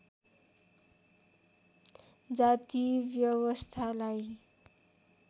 जाति व्यवस्थालाई